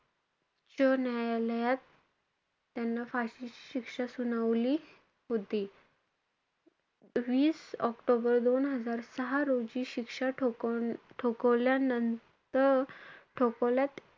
उच्च न्यायालयात त्याला फाशीची शिक्षा सुनावली होती. वीस ऑक्टोबर दोन हजार सहा रोजी ठोकव~ ठोकवल्यानंतर~ ठोकावल्यात,